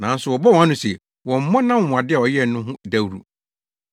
Nanso ɔbɔɔ wɔn ano se wɔmmmɔ nʼanwonwade a ɔyɛɛ no ho dawuru.